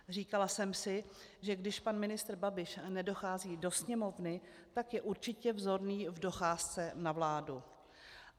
Říkala jsem si, že když pan ministr Babiš nedochází do Sněmovny, tak je určitě vzorný v docházce na vládu.